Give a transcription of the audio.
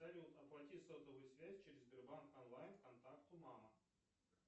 салют оплати сотовую связь через сбербанк онлайн контакту мама